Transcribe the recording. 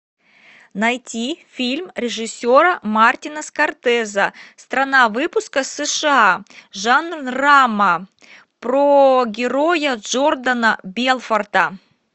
найти фильм режиссера мартина скорсезе страна выпуска сша жанр драма про героя джордана белфорта